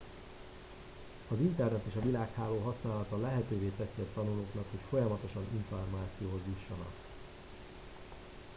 az internet és a világháló használata lehetővé teszi a tanulóknak hogy folyamatosan információhoz jussanak